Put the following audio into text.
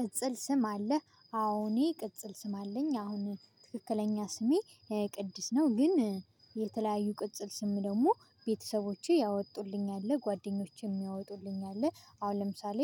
ቅጽል ስም አለህ አሁን ቅጽል ስም አለኝ አሁን ትክክለኛ ስሜ ቅድስት ነው። ግን የተለያዩ ቅጽል ስም ደግሞ ቤተሰቦቼ ያወጡልኝ አለ ጓደኞቼም ያወጡልኝ አለ አሁን ለምሳሌ